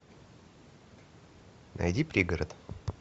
найди пригород